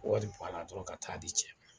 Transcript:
Wari baara dɔrɔn ka taa di cɛ ma.